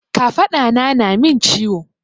Kafaɗa na na min ciwo.